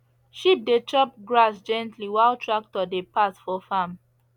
sheep dey chop grass gently while tractor dey pass for farm